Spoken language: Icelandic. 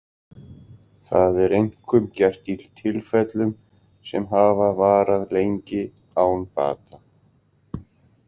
Það er einkum gert í tilfellum sem hafa varað lengi án bata.